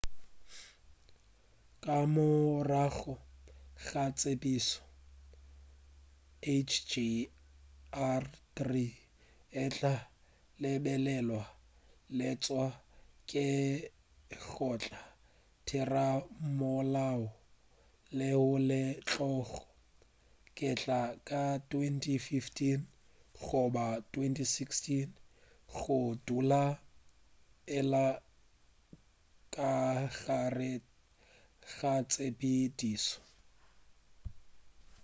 ka morago ga tshepedišo hjr-3 e tla lebelelwa leswa ke lekgotla-thera-molao leo le tlogo kgethwa ka 2015 goba 2016 go dula e le ka gare ga tshepedišo